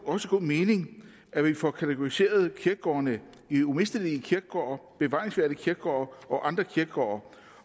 også god mening at vi får kategoriseret kirkegårdene i umistelige kirkegårde bevaringsværdige kirkegårde og andre kirkegårde